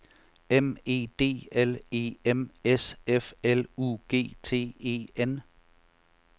M E D L E M S F L U G T E N